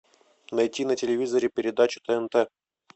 найти на телевизоре передачу тнт